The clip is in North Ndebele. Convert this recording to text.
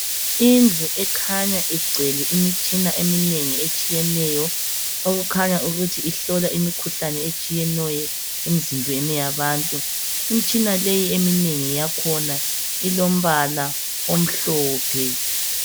Indlu ekhanya igcwele imitshina eminengi etshiyeneyo okukhanya ukuthi ihlola imikhuhlane etshiyeneyo emzimbeni yabantu imitshina le eminengi yakhona ilombala omhlophe.